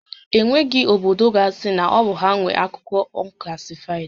E nweghị obodo ga asị na ọ bụ ha nwé akụkọ unclassified